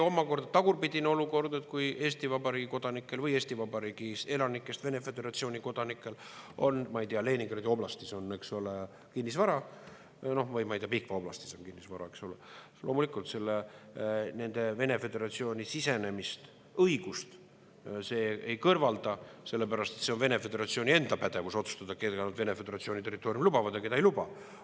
Omakorda tagurpidine olukord, kui Eesti Vabariigi kodanikel või Eesti Vabariigi elanikest Vene föderatsiooni kodanikel on, ma ei tea, Leningradi oblastis kinnisvara või Pihkva oblastis kinnisvara, loomulikult nende Vene föderatsiooni sisenemise õigust ei kõrvalda, sellepärast et see on Vene föderatsiooni enda pädevus otsustada, keda nad Vene föderatsiooni territooriumile lubavad ja keda ei luba.